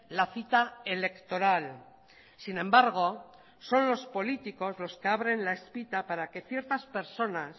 la cita electoral sin embargo son los políticos los que abren la espita para que ciertas personas